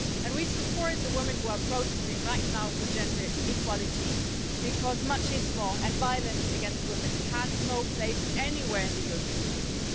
We support the women who are protesting right now for gender equality because machismo and violence against women have no place anywhere in the European Union.